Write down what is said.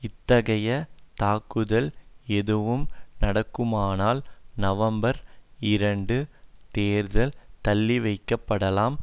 இத்தகைய தாக்குதல் எதுவும் நடக்குமானால் நவம்பர் இரண்டு தேர்தல் தள்ளிவைக்கப்படலாம்